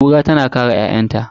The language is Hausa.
Kuran tana kare ƴa'ƴanta.